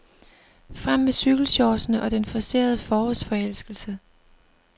Frem med cykelshortsene og den forcerede forårsforelskelse.